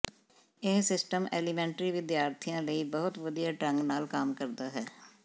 ਇਹ system elementary ਵਿਦਿਆਰਥੀਆਂ ਲਈ ਬਹੁਤ ਵਧੀਆ ਢੰਗ ਨਾਲ ਕੰਮ ਕਰਦਾ ਹੈ